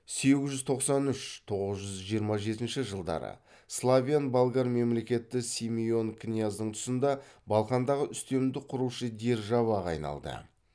сегіз жүз тоқсан үш тоғыз жүз жиырма жетінші жылдары славян болгар мемлекеті симеон княздың тұсында балқандағы үстемдік құрушы державаға айналды